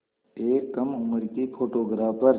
एक कम उम्र की फ़ोटोग्राफ़र